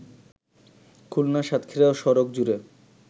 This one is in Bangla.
খুলনা-সাতক্ষীরা সড়ক জুড়ে